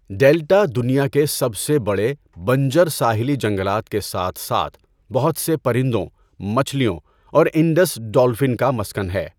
Delta دنیا کے سب سے بڑے بنجر ساحلی جنگلات کے ساتھ ساتھ بہت سے پرندوں، مچھلیوں اور انڈس ڈولفن کا مسکن ہے۔